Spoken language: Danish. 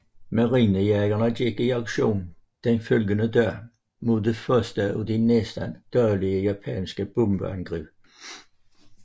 Marinejagerne gik i aktion den følgende dag mod det første af de næsten daglige japanske bombeangreb